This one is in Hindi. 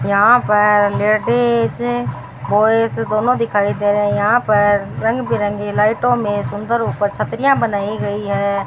यहां पर लेडिज बॉयस दोनों दिखाई दे रहे हैं यहां पर रंग बिरंगी लाइटों में सुंदर ऊपर छतरियां बनाई गई है।